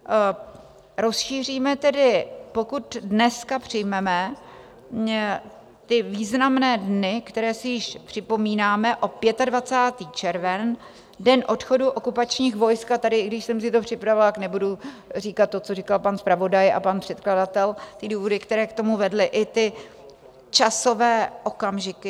Rozšíříme tedy, pokud dneska přijmeme, ty významné dny, které si již připomínáme, o 25. červen, Den odchodu okupačních vojsk, a tady, i když jsem si to připravila, nebudu říkat to, co říkal pan zpravodaj a pan předkladatel, ty důvody, které k tomu vedly, i ty časové okamžiky.